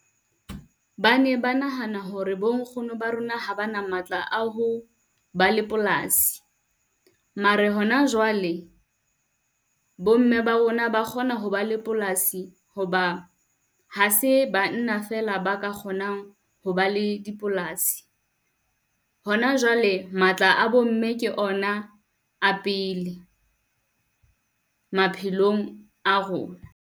Ba ne ba nahana hore bo nkgono ba rona, ha ba na matla a ho ba le polasi. Mara hona jwale, bo mme ba rona ba kgona ho ba la polasi ho ba ha se banna fela ba ka kgonang ho ba le dipolasi. Hona jwale matla a bo mme ke ona a pele maphelong a rona.